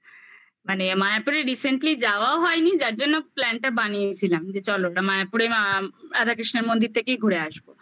মানে মায়াপুরে recently যাওয়াও হয়নি যার জন্য plan টা বানিয়েছিলাম যে চলো ওটা মায়াপুরে রাধাকৃষ্ণের মন্দির থেকেই ঘুরে আসবো